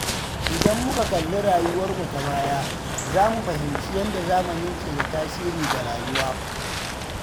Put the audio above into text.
Idan muka kalli rayuwarmu ta baya, za mu fahimci yadda zamani ke da tasiri ga rayuwa.